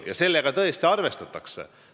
Sellega tõesti arvestatakse.